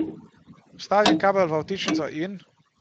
Vstavim kabel v vtičnico in ...